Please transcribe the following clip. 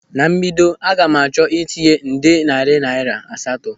Na mbido, aga m achọ ịtinye nde narị naira asatọ.